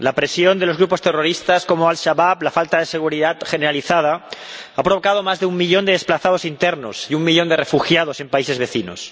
La presión de grupos terroristas como Al Shabab, la falta de seguridad generalizada han provocado más de un millón de desplazados internos y un millón de refugiados en países vecinos.